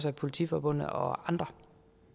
af politiforbundet og andre